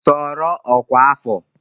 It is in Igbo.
Soro ọkwa afọ!